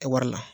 Kɛ wari la